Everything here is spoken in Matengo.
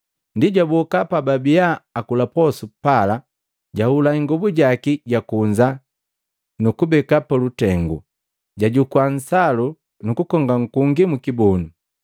Ndi jwaboka pababia akula posu pala, jwahula ingobu jaki jakunza nukubeka pulutengu, jajukua nsalu nukukonga nkungi mukibunu.